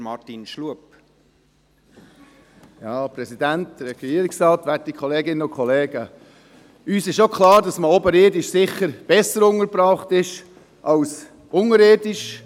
Uns ist auch klar, dass man oberirdisch sicher besser untergebracht ist als unterirdisch.